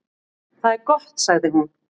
"""Það er gott, sagði hún."""